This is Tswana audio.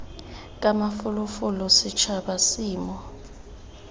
ka mafolofolo setšhaba se mo